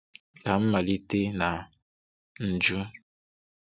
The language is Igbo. Ka m malite na njụ́